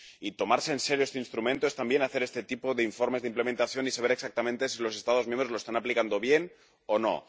Y tomarse en serio este instrumento es también hacer este tipo de informes de implementación y saber exactamente si los Estados miembros lo están aplicando bien o no.